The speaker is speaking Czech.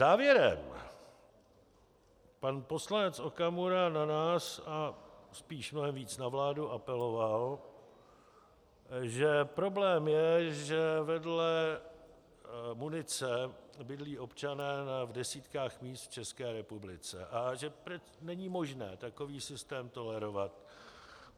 Závěrem pan poslanec Okamura na nás a spíše mnohem víc na vládu apeloval, že problém je, že vedle munice bydlí občanů v desítkách míst v České republice a že není možné takový systém tolerovat.